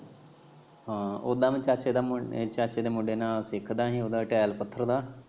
ਹਾਂ ਉਦਾ ਮੈਂ ਚਾਚੇ ਦੇ ਮੁੰਡੇ ਨਾਲ ਸਿੱਖਦਾ ਹੀ ਉਦਾ ਟੈਲ ਪੱਥਰ ਦਾ।